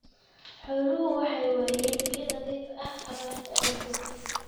Xooluhu waxay waayeen biyo nadiif ah abaarta awgeed.